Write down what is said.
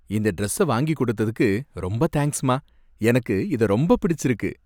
இந்த டிரெஸ்ஸை வாங்கி கொடுத்ததுக்கு ரொம்ப தேங்க்ஸ்மா! எனக்கு இதை ரொம்ப பிடிச்சிருக்கு.